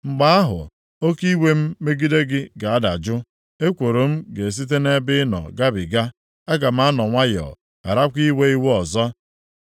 Mgbe ahụ, oke iwe m megide gị ga-adajụ, ekworo m ga-esite nʼebe ị nọ gabiga. Aga m anọ nwayọọ gharakwa iwe iwe ọzọ.